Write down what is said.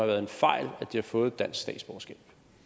været en fejl at de har fået dansk statsborgerskab